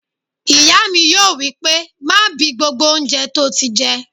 Ìyá mi yóò wí pé "má bi gbogbo oúnjẹ tó ti jẹ!"